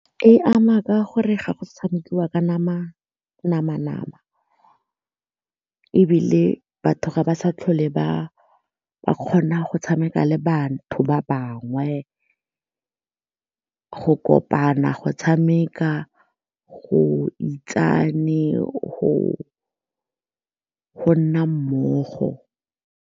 E ama ka gore ga go sa tshamekiwa ka nama-nama ebile batho ga ba sa tlhole ba kgona go tshameka le batho ba bangwe go kopana, go tshameka, go itsane, go nna mmogo.